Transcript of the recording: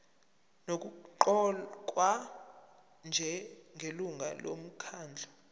nokuqokwa njengelungu lomkhandlu